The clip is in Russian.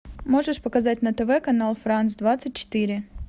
можешь показать на тв канал франс двадцать четыре